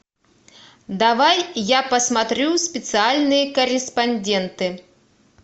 давай я посмотрю специальные корреспонденты